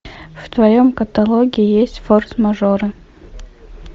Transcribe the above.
в твоем каталоге есть форс мажоры